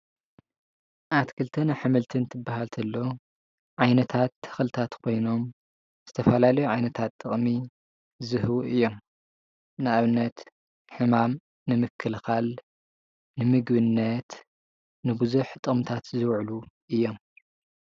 ኣትክልትን ኣሕምልትን ክበሃል ከሎ ዓይነታት ተክልታት ኮይኖም ዝተፈላለዩ ዓይነታት ጥቅሚ ዝህቡ እዮም፡፡ ንኣብነት ሕማም ንምክልካል፣ ንምግብነት ንብዙሕ ጥቅምታት ዝውዕሉ እዮም፡፡